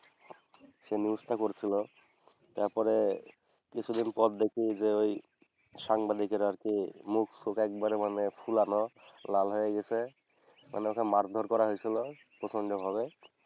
সে News টা করসিল। তারপরে কিছুদিন পরে দেখি যে ঐ সাংবাদিকের আর কি মুখ ফুক একবারে মানে ফুলানো, লাল হয়ে গেসে মানে ওকে মারধর করা হইসিল প্রচণ্ড ভাবে।